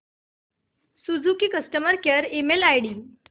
Suzuki customer care email ID